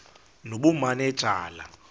nobumanejala